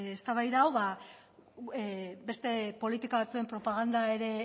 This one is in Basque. eztabaida hau beste politika batzuen propaganda ere